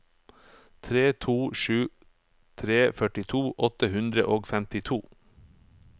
tre to sju tre førtito åtte hundre og femtito